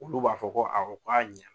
Olu b'a fɔ ko awɔ k'a ɲa